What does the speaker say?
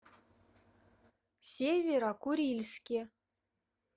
северо курильске